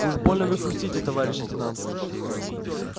уж больно вы хрустите товарищ лейтенант